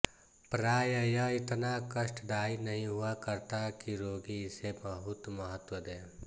प्राय यह इतना कष्टदायी नहीं हुआ करता कि रोगी इसे बहुत महत्व दे